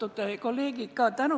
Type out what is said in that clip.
Austatud kolleegid!